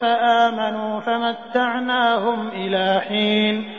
فَآمَنُوا فَمَتَّعْنَاهُمْ إِلَىٰ حِينٍ